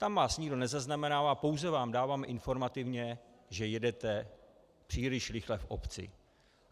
Tam vás nikdo nezaznamenává, pouze vám dáváme informativně, že jedete příliš rychle v obci.